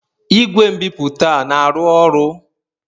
Igwe nbipute na-arụ ọrụ?